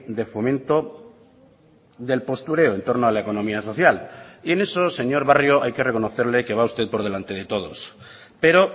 de fomento del postureo en torno a la economía social y en eso señor barrio hay que reconocerle que va usted por delante de todos pero